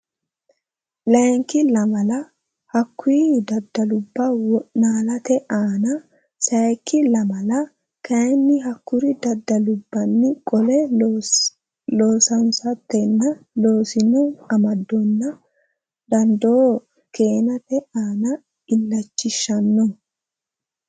Layinki lamala hakkuri danduubba wo naalate aana sayikki lamala kayinni hakkuri danduubbanni qolle loosansiisatenna rossino amadonna dandoo keenate aana illachishshanno.